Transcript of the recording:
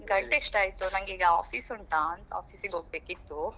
ಗಂಟೆಷ್ಟು ಆಯ್ತು ನಂಗೆ ಈಗ office ಉಂಟಾ ಅಂತ office ಗೆ ಹೋಗ್ಬೇಕಿತ್ತು.